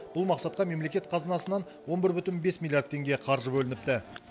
бұл мақсатқа мемлекет қазынасынан он бір бүтін бес миллиард теңге қаржы бөлініпті